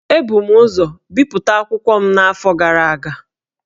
Ebu m ụzọ bipụta akwụkwọ m n’afọ gara aga